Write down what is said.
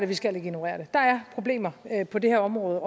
vi skal ikke ignorere det der er problemer på det her område